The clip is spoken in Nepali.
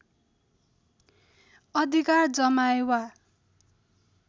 अधिकार जमाए वा